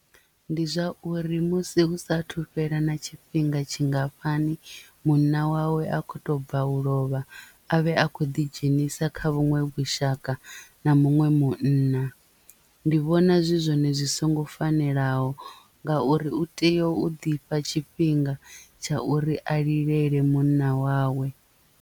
Ndi zwa uri musi hu sathu fhela na tshifhinga tshingafhani munna wawe a kho to bva u lovha avhe a khou ḓidzhenisa kha vhuṅwe vhushaka na muṅwe munna ndi vhona zwi zwone zwi songo fanelaho ngauri u tea u ḓifha tshifhinga tsha uri a lilele munna wawe.